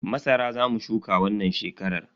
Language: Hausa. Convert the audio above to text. Masara Za mu shuka wannan shekarar.